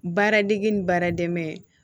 Baara degi ni baara dɛmɛ